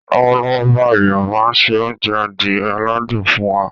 Lọ́wọ́lọ́wọ́ báyìí, màmá ń se oúnjẹ adìẹ aládùn fún wa.